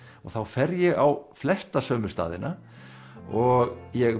þá fer ég á flesta sömu staðina og ég